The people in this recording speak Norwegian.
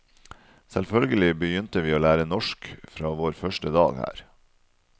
Selvfølgelig begynte vi å lære norsk fra vår første dag her.